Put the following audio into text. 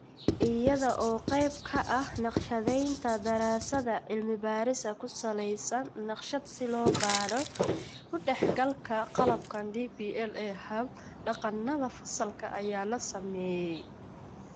Iyada oo qayb ka ah naqshadaynta daraasadda, cilmi-baadhis ku salaysan naqshad si loo baadho ku-dhexgalka qalabkan DPL ee hab-dhaqannada fasalka ayaa la sameeyay.